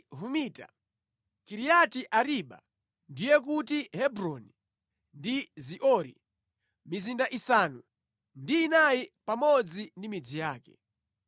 Humita, Kiriati-Ariba (ndiye kuti Hebroni) ndi Ziori, mizinda isanu ndi inayi pamodzi ndi midzi yake.